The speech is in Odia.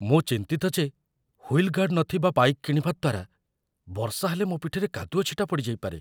ମୁଁ ଚିନ୍ତିତ ଯେ ହୁଇଲ୍ ଗାର୍ଡ଼ ନଥିବା ବାଇକ୍‌ କିଣିବା ଦ୍ୱାରା ବର୍ଷା ହେଲେ ମୋ ପିଠିରେ କାଦୁଅ ଛିଟା ପଡ଼ିଯାଇପାରେ।